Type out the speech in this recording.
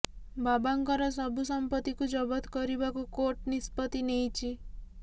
ବାବାଙ୍କର ସବ ସମ୍ପତିକୁ ଜବତ କରିବାକୁ କୋର୍ଟ ନିଷ୍ପତି ନେଇଛି